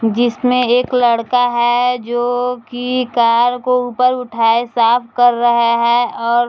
जिसमे एक लड़का है जो की कार को ऊपर उठाये साफ कर रहा है और --